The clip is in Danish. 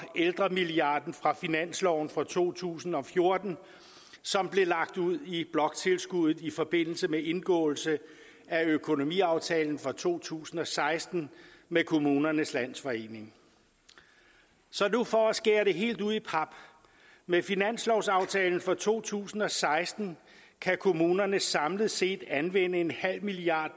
ældremilliarden fra finansloven for to tusind og fjorten som bliver lagt ud i bloktilskuddet i forbindelse med indgåelse af økonomiaftalen fra to tusind og seksten med kommunernes landsforening så nu for at skære det helt ud i pap med finanslovsaftalen for to tusind og seksten kan kommunerne samlet set anvende en halv milliard